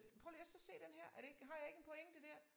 Prøv lige at så se den her er det ikke har jeg ikke en pointe dér